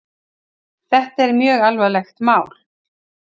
Þetta er mjög alvarlegt mál